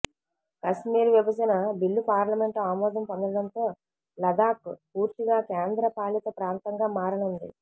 కశ్మీర్ విభజన బిల్లు పార్లమెంట్ ఆమోదం పొందడంతో లదాఖ్ పూర్తిగా కేంద్ర పాలిత ప్రాంతంగా మారనుంది